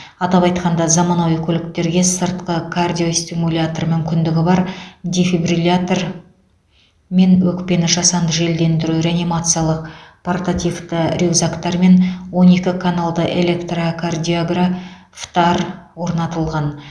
атап айтқанда заманауи көліктерге сыртқы кардиостимулятор мүмкіндігі бар дефибриллятор мен өкпені жасанды желдендіру реанимациялық портативті рюкзактар мен он екі каналды электрокардиографтар орнатылған